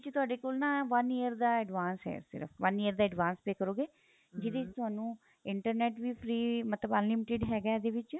ਵਿੱਚ ਤੁਹਾਡੇ ਕੋਲ ਨਾ one year ਦਾ advance ਏ ਸਿਰਫ one year ਦਾ advance pay ਕਰੋਗੇ ਜਿਹੜੇ ਚ ਤੁਹਾਨੂੰ internet ਵੀ free ਮਤਲਬ unlimited ਹੈਗਾ ਇਹਦੇ ਵਿੱਚ